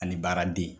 Ani baaraden